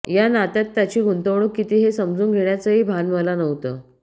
या नात्यात त्याची गुंतवणूक किती हे समजून घेण्याचंही भान मला नव्हतं